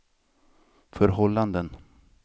förhållanden